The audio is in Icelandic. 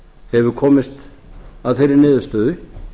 hefur komist að þeirri niðurstöðu